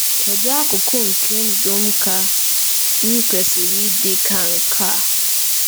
Kedu akụkụ nke ndụ m ka m kwesịrị ịdị ka nke a?